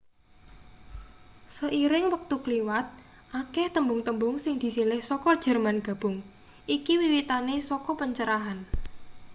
seiring wektu kliwat akeh tembung-tembung sing disilih saka jerman gabung iki wiwitane saka pencerahan